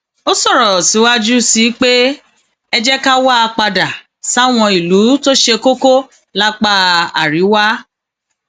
ó sọrọ síwájú um sí i pé ẹ jẹ ká wáá padà sáwọn ìlú tó um ṣe kókó lápá àríwá